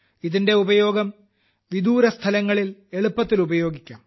ഇതിന്റെ ഉപയോഗം വിദൂരസ്ഥലങ്ങളിൽ എളുപ്പത്തിൽ ഉപയോഗിക്കാം